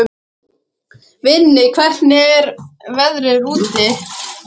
Vinni, hvernig er veðrið úti?